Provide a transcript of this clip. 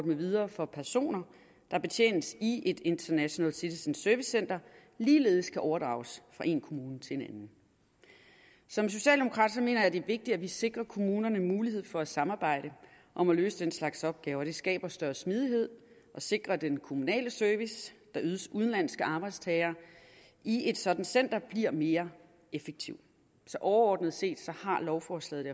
med videre for personer der betjenes i et international citizen service center ligeledes kan overdrages fra en kommune til en anden som socialdemokrat mener jeg at det er vigtigt at vi sikrer kommunerne mulighed for at samarbejde om at løse den slags opgaver det skaber større smidighed og sikrer at den kommunale service der ydes udenlandske arbejdstagere i et sådant center bliver mere effektiv så overordnet set har lovforslaget